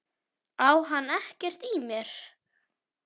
Á hann ekkert í mér?